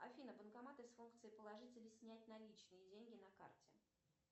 афина банкоматы с функцией положить или снять наличные деньги на карте